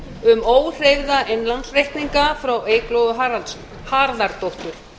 um óhreyfða innlánsreikninga frá eygló harðardóttur